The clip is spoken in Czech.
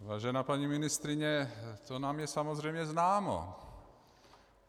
Vážená paní ministryně, to nám je samozřejmě známo.